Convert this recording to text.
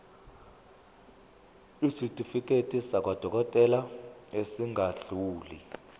isitifiketi sakwadokodela esingadluli